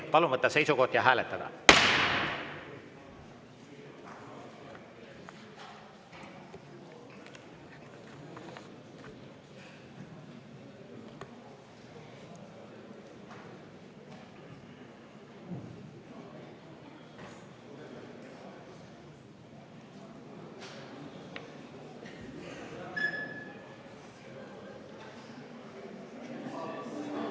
Palun võtta seisukoht ja hääletada!